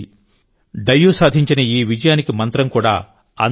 డయ్యూ సాధించిన ఈ విజయానికి మంత్రం కూడా అందరి కృషి